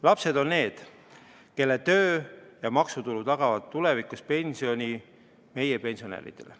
Lapsed on need, kelle töö ja maksutulu tagavad tulevikus pensioni meie pensionäridele.